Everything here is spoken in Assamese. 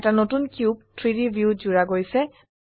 এটা নতুন কিউব 3ডি ভিউত জুড়া গৈছে